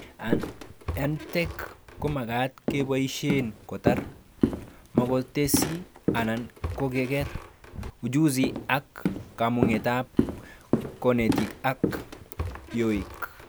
EdTech komagat keboishe kotar, makotesi anan koker, ujuzi ak komugetab konetik ak yoik